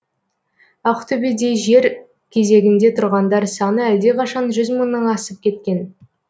ақтөбеде жер кезегінде тұрғандар саны әлдеқашан жүз мыңнан асып кеткен